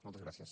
moltes gràcies